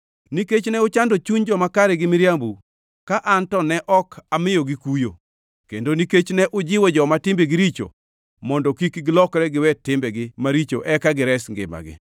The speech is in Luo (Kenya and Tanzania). Nikech ne uchando chuny joma kare gi miriambou, ka an to ne ok amiyogi kuyo, kendo nikech ne ujiwo joma timbegi richo mondo kik gilokre giwe timbegi maricho eka gires ngimagi,